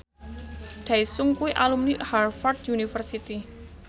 Daesung kuwi alumni Harvard university